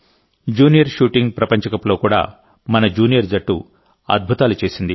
junior shooting ప్రపంచకప్లో కూడా మన జూనియర్ జట్టు అద్భుతాలు చేసింది